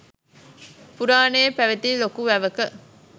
පුරාණයේ පැවැති ලොකු වැවක